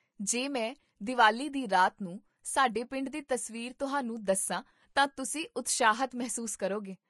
ਜੇ ਮੈਂ ਦੀਵਾਲੀ ਦੀ ਰਾਤ ਨੂੰ ਸਾਡੇ ਪਿੰਡ ਦੀ ਤਸਵੀਰ ਤੁਹਾਨੂੰ ਦੱਸਾਂ ਤਾਂ ਤੁਸੀਂ ਉਤਸ਼ਾਹਿਤ ਮਹਿਸੂਸ ਕਰੋਗੇ